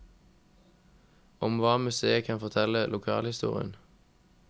Om hva museet kan fortelle om lokalhistorien.